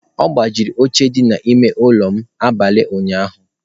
Ọ gbajiri oche dị n'ime ụlọ m n'abalị ụnyaahụ.